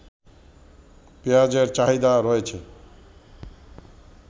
পেঁয়াজের চাহিদা রয়েছে